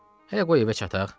Hələ qoy evə çataq.